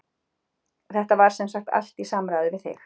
Þetta var semsagt allt í samráði við þig?